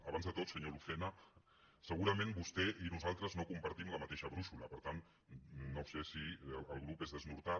abans de tot senyor lucena se·gurament vostè i nosaltres no compartim la mateixa brúixola per tant no sé si el grup és desnortat